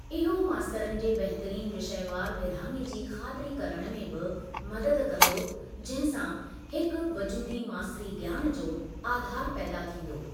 इहो मास्तरनि जे बहितरीन विषयवार विरिहाङे जी ख़ातिरी करणु में बि मददु कंदो, जहिं सां हिकु वज़ूदी मास्तरी ज्ञान जो आधारू पैदा थींदो।